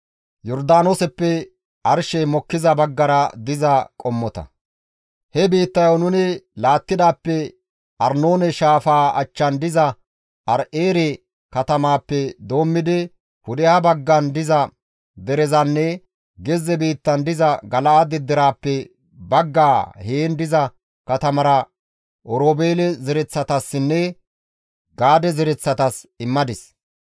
He biittayo nuni laattidaappe Arnoone shaafaa achchan diza Aaro7eere katamaappe doommidi pudeha baggan diza derezanne gezze biittan diza Gala7aade deraappe baggaa heen diza katamatara Oroobeele zereththatassinne Gaade zereththatas immadis.